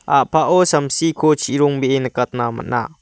a·pao samsiko chirongbee nikatna man·a.